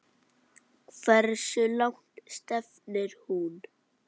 Hversu langt stefnir hún?